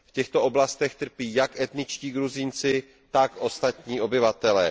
V těchto oblastech trpí jak etničtí Gruzínci, tak ostatní obyvatelé.